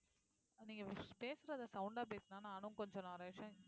நீங்க பேசுறதை sound ஆ பேசுனா நானும் கொஞ்சம் நிறைய விஷயம்